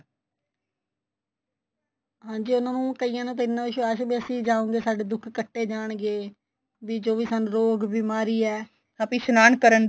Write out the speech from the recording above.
ਹਾਂਜੀ ਉਨ੍ਹਾਂ ਨੂੰ ਕਾਇਆ ਨੂੰ ਤਾਂ ਇੰਨਾ ਚਾ ਸੀ ਬੀ ਅਸੀਂ ਜਾਉਗੇ ਸਾਡੇ ਦੁੱਖ ਕੱਟੇ ਜਾਣਗੇ ਵੀ ਜੋ ਵੀ ਸਾਨੂੰ ਰੋਗ ਬਿਮਾਰੀ ਏ ਆਪੇ ਇਸ਼ਨਾਨ ਕਰਨ ਦੇ